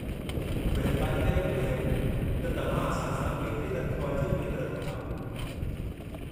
महिरबानी करे ॿुधायो त तव्हां असां सां केतिरी तन्ख़्वाह जी उमेद रखो था।